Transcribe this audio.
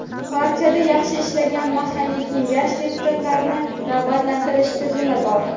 Partiyada yaxshi ishlagan mahalliy kengash deputatlarini rag‘batlantirish tizimi bor.